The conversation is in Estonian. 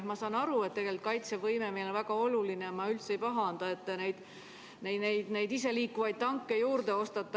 Ma saan aru, et kaitsevõime on meile väga oluline, ja ma üldse ei pahanda, et te neid iseliikuvaid tanke juurde ostate.